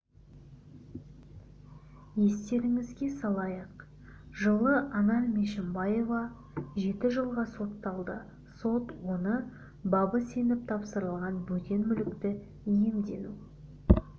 естеріңізге салайық жылы анар мешімбаева жеті жылға сотталды сот оны бабы сеніп тапсырылған бөтен мүлікті иемдену